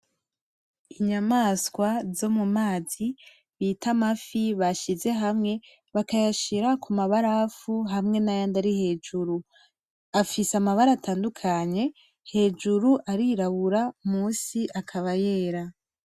Inyamaswa zo mumazi bita amafi bashize hamwe, bakayashira kumabarafu hamwe nayandi ari hejuru, afise amabara atandukanye, hejuru arirabura musi akaba yera.